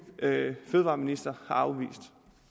fødevareminister